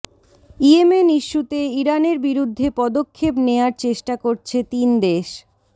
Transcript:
Yemen ইস্যুতে ইরানের বিরুদ্ধে পদক্ষেপ নেয়ার চেষ্টা করছে তিন দেশ